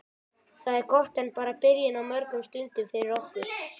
Það er gott en bara byrjun á mörgum stundum fyrir okkur.